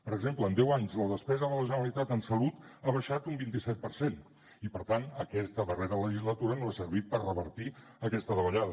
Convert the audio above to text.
per exemple en deu anys la despesa de la generalitat en salut ha baixat un vint set per cent i per tant aquesta darrera legislatura no ha servit per revertir aquesta davallada